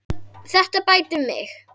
Þetta bætir mig.